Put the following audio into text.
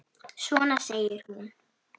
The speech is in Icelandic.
Svona! segir hún.